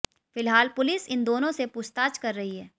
फिलहाल पुलिस इन दोनों से पूछताछ कर रही है